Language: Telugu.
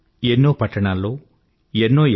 ఎన్నో పట్టణాల్లో ఎన్నో ఎన్